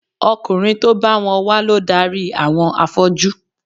Ọkùnrin tó bá wọn wá ló darí àwọn afọ́jú